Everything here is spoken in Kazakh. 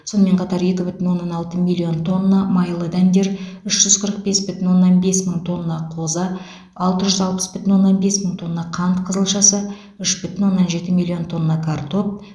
сонымен қатар екі бүтін оннан алты миллион тонна майлы дәндер үш жүз қырық бес бүтін оннан бес мың тонна қоза алты жүз алпыс бүтін оннан бес мың тонна қант қызылшасы үш бүтін оннан жеті миллион тонна картоп